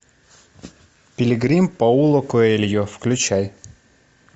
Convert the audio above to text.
пилигрим пауло коэльо включай